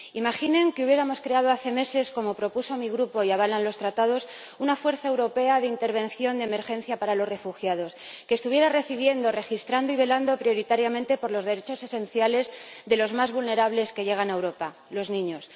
Imaginen que hubiéramos creado hace meses, como propuso mi Grupo y avalan los Tratados, una fuerza europea de intervención de emergencia para los refugiados que estuviera recibiendo, registrando y velando prioritariamente por los derechos esenciales de los más vulnerables que llegan a Europa los niños.